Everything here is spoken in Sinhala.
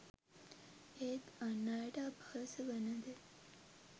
ඒත් අන් අයට අපහාස වන දේ